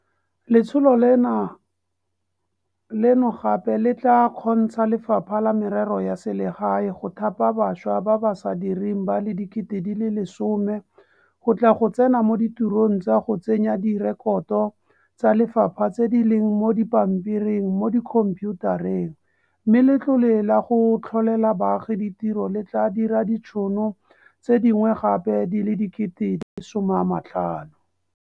Letsholo leno gape le tla kgontsha Lefapha la Merero ya Selegae go thapa bašwa ba ba sa direng ba le 10 000 go tla go tsena mo ditirong tsa go tsenya direkoto tsa lefapha tse di leng mo dipampiring mo dikhomphiutareng, mme Letlole la go Tlholela Baagi Ditiro le tla dira ditšhono tse dingwe gape di le 50 000.